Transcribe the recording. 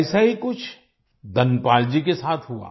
ऐसा ही कुछ धनपाल जी के साथ हुआ